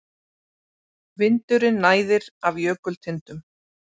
Vindurinn næðir af jökultindum.